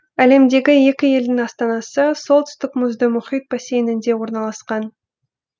әлемдегі екі елдің астанасы солтүстік мұзды мұхит бассейнінде орналасқан